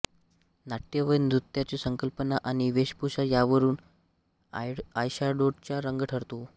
नाटय व नृत्याची संकल्पना आणि वेशभूषा यावरून आयशाडोचा रंग ठरतो